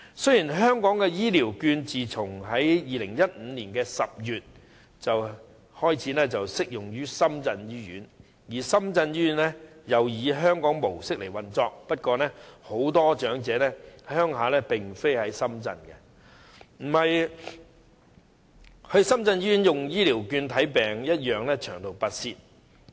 雖然香港的醫療券自2015年10月起適用於深圳醫院，而深圳醫院亦以香港模式運作，但很多長者的家鄉不在深圳，前往深圳醫院使用醫療券求診同樣需長途跋涉。